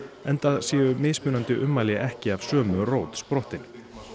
enda séu mismunandi ummæli ekki af sömu rót sprottin